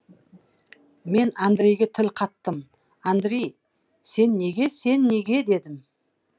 мен андрейге тіл қаттым андрей сен неге сен неге дедім